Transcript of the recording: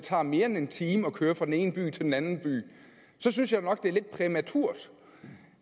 tager mere end en time at køre fra den ene by til den anden by så synes jeg nok at det er lidt præmaturt